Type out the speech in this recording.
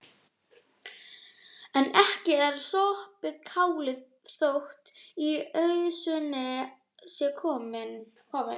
En ekki er sopið kálið þótt í ausuna sé komið.